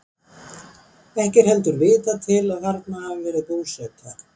Ekki er heldur vitað til að þarna hafi verið búseta.